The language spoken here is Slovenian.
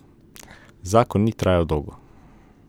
Zakon ni trajal dolgo.